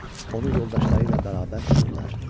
Onu yoldaşları ilə bərabər tutdular.